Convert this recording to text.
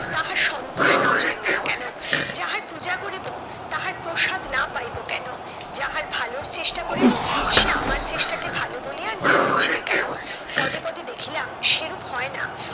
তাহার সন্তোষ না জন্মিবে কেন? যাহার পূজা করিবো তাহার প্রসাদ না পাইবো কেন? যাহার ভালোর চেষ্টা করিবো সে আমার চেষ্টাকে ভালো বলিয়া না বুঝবে কেন? পদে পদে দেখিলাম সেরূপ হয়না।